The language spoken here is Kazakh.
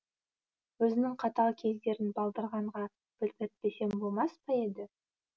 өзінің қатал кездерін балдырғанға білдіртпесең болмас па еді